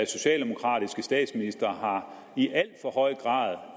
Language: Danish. socialdemokratiske statsministre i alt for høj grad